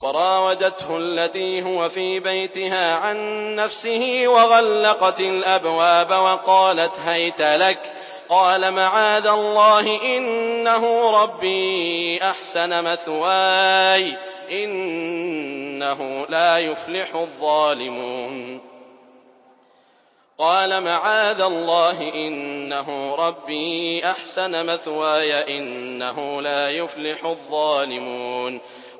وَرَاوَدَتْهُ الَّتِي هُوَ فِي بَيْتِهَا عَن نَّفْسِهِ وَغَلَّقَتِ الْأَبْوَابَ وَقَالَتْ هَيْتَ لَكَ ۚ قَالَ مَعَاذَ اللَّهِ ۖ إِنَّهُ رَبِّي أَحْسَنَ مَثْوَايَ ۖ إِنَّهُ لَا يُفْلِحُ الظَّالِمُونَ